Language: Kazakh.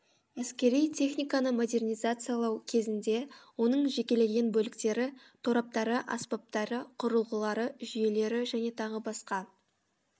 әскери техниканы модернизациялау кезінде оның жекелеген бөліктері тораптары аспаптары құрылғылары жүйелері және т б